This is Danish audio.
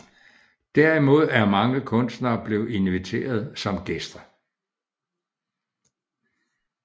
Derimod er mange kunstnere blevet inviteret som gæster